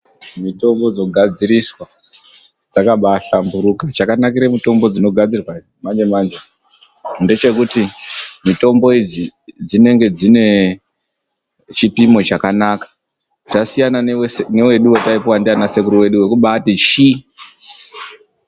Mitombo dzogadziriswa dzakaba hlamburuka, chakanakire mutombo dzinogadzirwa dzechi manje manje ndechekuti mitombo idzi dzinenge dzine chipimo chakanaka dzasiyana newedu wataipuwa ndana sekuru vedu wekubati shii.